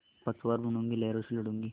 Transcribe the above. पतवार बनूँगी लहरों से लडूँगी